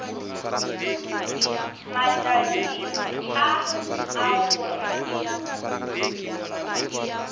matšaši a a go re